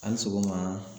Hali sɔgɔma